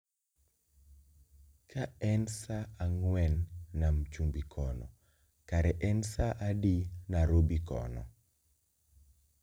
Kaen saa ang'wen nam chumbi kono kare en sa adi narobi kono